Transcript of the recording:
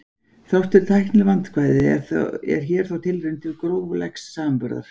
þrátt fyrir tæknileg vandkvæði er hér þó tilraun til gróflegs samanburðar